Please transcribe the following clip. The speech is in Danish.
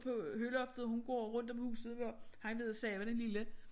På høloftet hun går rundt om huset for vil ikke sove den lille